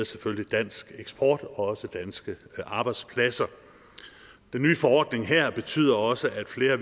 selvfølgelig dansk eksport og også danske arbejdspladser den nye forordning her betyder også at flere